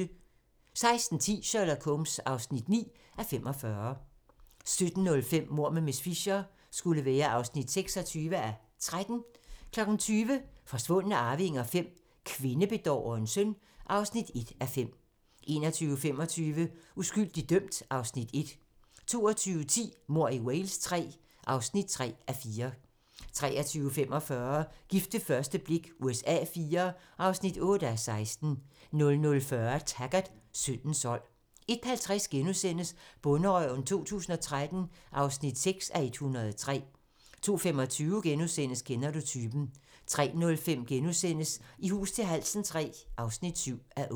16:10: Sherlock Holmes (9:45) 17:05: Mord med miss Fisher (26:13) 20:00: Forsvundne arvinger V: Kvindebedårerens søn (1:5) 21:25: Uskyldig dømt (Afs. 1) 22:10: Mord i Wales III (3:4) 23:45: Gift ved første blik USA IV (8:16) 00:40: Taggart: Syndens sold 01:50: Bonderøven 2013 (6:103)* 02:25: Kender du typen? * 03:05: I hus til halsen III (7:8)*